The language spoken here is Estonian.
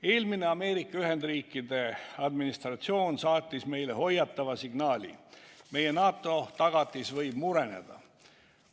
Eelmine Ameerika Ühendriikide administratsioon saatis meile hoiatava signaali: meie NATO-tagatis võib mureneda.